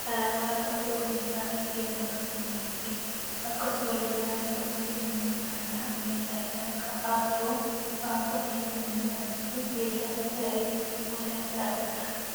qalama halluu cuquliisaa fi keelloon dibamee jira. Akkasumallee naannoo 'ATM' kanaa meeshaaleen akka artuu, waan kosii itti naqanii fi meeshaan bishaan itti kuusan lafa jira.